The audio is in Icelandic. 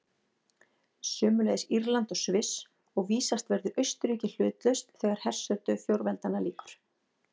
Sömuleiðis Írland og Sviss, og vísast verður Austurríki hlutlaust þegar hersetu fjórveldanna lýkur.